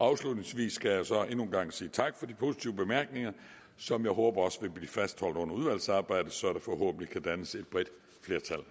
afslutningsvis skal jeg så endnu en gang sige tak for de positive bemærkninger som jeg håber også vil blive fastholdt under udvalgsarbejdet så der forhåbentlig kan dannes et bredt flertal